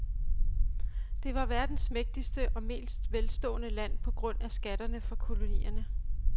Det var verdens mægtigste og mest velstående land på grund af skattene fra kolonierne.